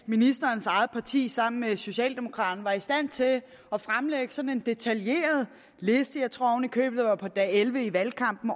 ministerens eget parti sammen med socialdemokraterne var i stand til at fremlægge sådan en detaljeret liste jeg tror oven i købet at det var på dag elleve i valgkampen